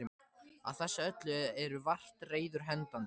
Á þessu öllu eru vart reiður hendandi.